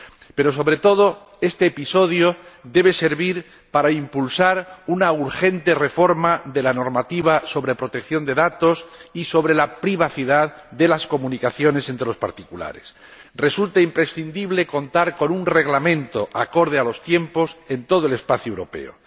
Pero, sobre todo, este episodio debe servir para impulsar una urgente reforma de la normativa sobre protección de datos y sobre la privacidad de las comunicaciones entre los particulares. Resulta imprescindible contar con un reglamento acorde a los tiempos en todo el espacio europeo.